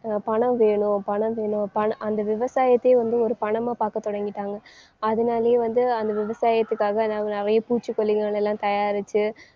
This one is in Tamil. பணம் வேணும் பணம் வேணும் பணம் அந்த விவசாயத்தையே வந்து ஒரு பணமா பார்க்க தொடங்கிட்டாங்க. அதனாலேயே வந்து அந்த விவசாயத்துக்காக நாங்க நிறைய பூச்சிக்கொல்லிகள் எல்லாம் தயாரிச்சு